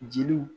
Jeliw